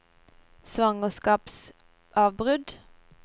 svangerskapsavbrudd